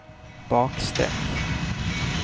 bakstreck